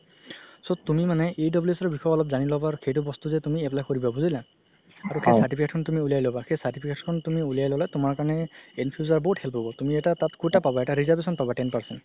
so তুমি মানে EWS ৰ বিষয়ে অলপ যানি ল'বা আৰু সেইটো বস্তু যে তুমি apply কৰিবা বুজিলা আৰু কি তুমি certificate খন উলিয়াই ল'বা সেই certificate খন উলিয়াই ল'লে তুমাৰ কাৰণে in future বহুত help হ'ব তুমি এটা তাত quota পাব এটা reservation ten percent